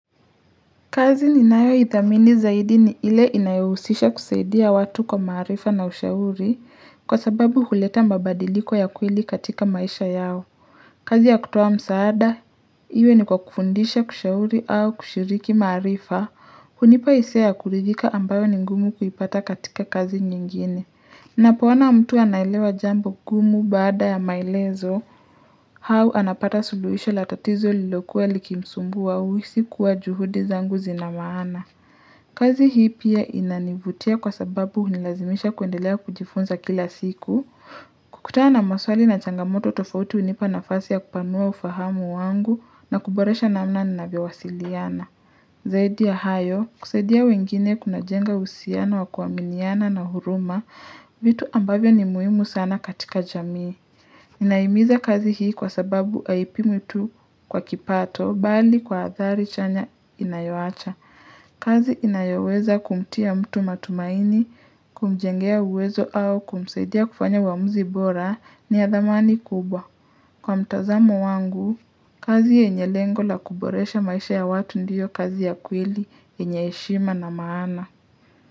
Kazi ni nayo idhamini zaidi ni ile inayohusisha kusaidia watu kwa marifa na ushauri kwa sababu huleta mabadiliko ya kweli katika maisha yao. Kazi ya kutoa msaada, iwe ni kwa kufundisha kushauri au kushiriki marifa, hunipa hisia ya kuridika ambayo ni ngumu kuipata katika kazi nyingine. Napo ona mtu analewa jambo gumu bada ya malezo, hau anapata suluhisho latatizo lilokuwa likimsumbuwa uisi kuwa juhudi zangu zinamaana. Kazi hii pia inanivutia kwa sababu unilazimisha kuendelea kujifunza kila siku, kukutana maswali na changamoto tofauti unipa na fasi ya kupanua ufahamu wangu na kuboresha na mna nabia wasiliana. Zaidi ya hayo, kusaidia wengine kuna jenga usiano wa kuaminiana na huruma, vitu ambavyo ni muhimu sana katika jamii. Inaimiza kazi hii kwa sababu aipi mtu kwa kipato, bali kwa athari chanya inayoacha. Kazi inayoweza kumtia mtu matumaini, kumjengea uwezo au kumsaidia kufanya uamuzi bora ni ya dhamani kubwa. Kwa mtazamo wangu, kazi yenye lengo la kuboresha maisha ya watu ndiyo kazi ya kweli, yenye heshima na maana.